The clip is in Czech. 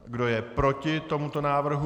Kdo je proti tomuto návrhu?